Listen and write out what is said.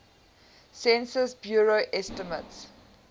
census bureau estimates